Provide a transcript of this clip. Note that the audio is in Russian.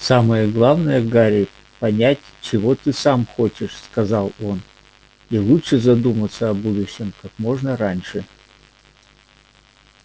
самое главное гарри понять чего ты сам хочешь сказал он и лучше задуматься о будущем как можно раньше